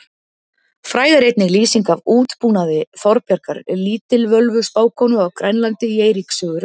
Fræg er einnig lýsing af útbúnaði Þorbjargar lítilvölvu spákonu á Grænlandi í Eiríks sögu rauða.